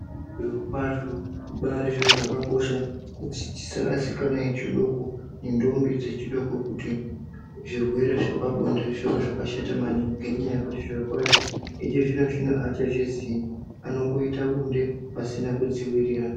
Zviro kwazvo zvibari zviro zvakakosha Tisarashika vana vechidoko nendombi dzechidoko kuti zvirwere zvepabonde zvive zvakashata maningi ngekuti zviro kwazvo ikozvino avachazvizivi vanoita bonde vasina kudzivirira.